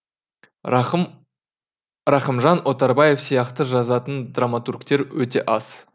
рахымжан отарбаев сияқты жазатын драматургтер өте аз